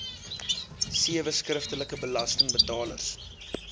sewe skriftelike belastingbetalers